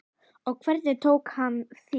Og hvernig tók hann því?